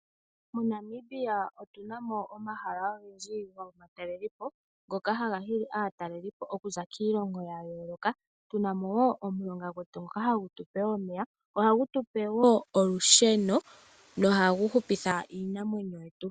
MoNamibia otu na mo omahala ogendji gomatalelo po ngoka haga hili aataleli po okuza kiilongo ya yooloka, tu na mo wo omulonga gwetu ngoka hagu tu pe wo omeya, ohagu tu pe wo olusheno nohagu hupitha iinamwenyo yetu.